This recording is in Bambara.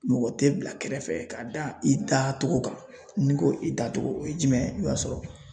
Mɔgɔ tɛ bila kɛrɛfɛ ka da i da cogo kan n'i ko i da cogo o ye jumɛn ye i b'a sɔrɔ